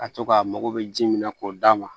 A to k'a mago bɛ ji min na k'o d'a ma